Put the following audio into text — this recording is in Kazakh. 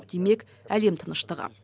демек әлем тыныштығы